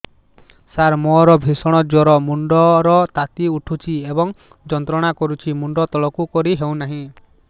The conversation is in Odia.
ସାର ମୋର ଭୀଷଣ ଜ୍ଵର ମୁଣ୍ଡ ର ତାତି ଉଠୁଛି ଏବଂ ଯନ୍ତ୍ରଣା କରୁଛି ମୁଣ୍ଡ ତଳକୁ କରି ହେଉନାହିଁ